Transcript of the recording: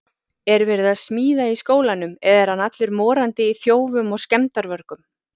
Er verið að smíða í skólanum eða er hann allur morandi í þjófum og skemmdarvörgum!